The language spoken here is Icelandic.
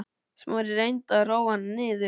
Smári reyndi að róa hana niður.